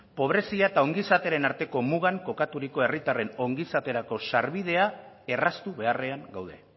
pobrezia eta ongizatearen arteko mugan kokaturiko herritarren ongizaterako sarbidea erraztu beharrean gaude